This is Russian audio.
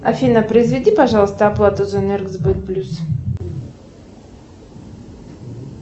афина произведи пожалуйста оплату за энергосбыт плюс